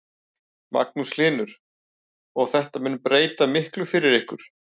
Magnús Hlynur: Og þetta mun breyta miklu fyrir ykkur?